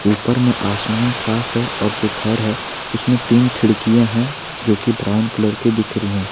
ऊपर में आसमान साफ है जो घर है उसमें तीन खिड़कियां है जो कि ब्राउन कलर के दिख रही है।